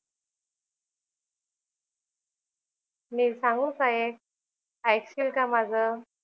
मी सांगू का एक? ऐकशील का माझं?